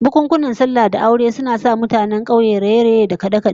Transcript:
Bukunkunan sallah da aure zasu sa kaga taruwan mutanen kauye fiye da koyaushe, suna raye-raye da kade-kade